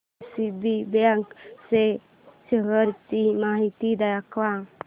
DCB bank च्या shares ची माहिती दाखव